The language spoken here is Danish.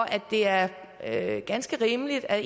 at det er ganske rimeligt at